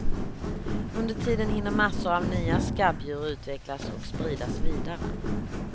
Under tiden hinner massor av nya skabbdjur utvecklas och spridas vidare.